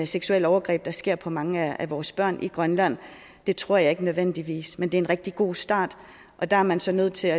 seksuelle overgreb der sker på mange af vores børn i grønland det tror jeg ikke nødvendigvis men det er en rigtig god start og der er man så nødt til